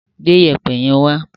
Gbé Iyẹ̀pẹ̀ yẹn wá!